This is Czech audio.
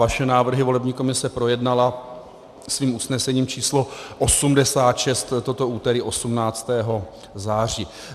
Vaše návrhy volební komise projednala svým usnesením č. 86 toto úterý 18. září.